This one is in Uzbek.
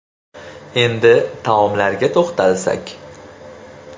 Endi taomlarga to‘xtalsak.